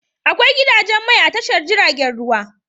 Akwai gidajen mai a tashar jiragen ruwa.